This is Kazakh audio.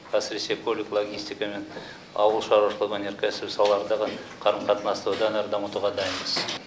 әсіресе көлік логистика мен ауыл шаруашылығы өнеркәсібі салаларындағы қарым қатынасты одан әрі дамытуға дайынбыз